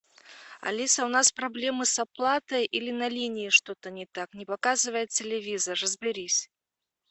алиса у нас проблемы с оплатой или на линии что то не так не показывает телевизор разберись